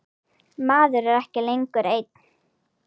Maður er ekki lengur einn.